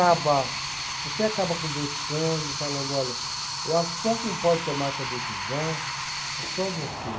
Acaba, você acaba conversando, falando, olha, eu acho que só quem pode tomar essa decisão é só você.